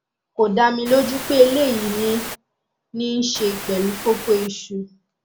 kò dá mi lójú pé eléyìí ní í ní í ṣe pẹlú kókóìsù